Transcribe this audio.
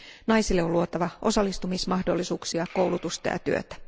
Naisille on luotava osallistumismahdollisuuksia, koulutusta ja työtä.